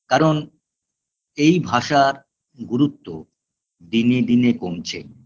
কারণ এই ভাষার গুরুত্ব দিনে দিনে কমছে